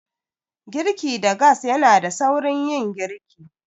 Girki da gas yanada saurin yin girki.